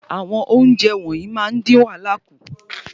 Àwọn ounjẹ wọnyii máa n din wàhálà ku